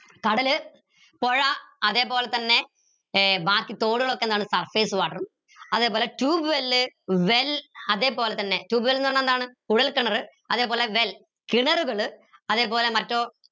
കടല് പുഴ അതേപോലെതന്നെ ഏർ ബാക്കി തോടുകൾ ഒക്കെ എന്താണ് surface water ഉം അതേപോലെ tube well well അതേപോലെതന്നെ tube well ന്ന് പറഞ്ഞ എന്താണ് കുഴൽ കിണർ അതേപോലെ well കിണറുകൾ അതേപോലെ മറ്റേ